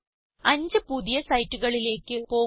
അഞ്ചു പുതിയ സൈറ്റുകളിലേക്ക് പോകുക